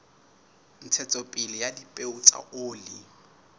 ntshetsopele ya dipeo tsa oli